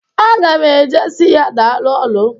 Aga m e je si ya daalụ ọlụ.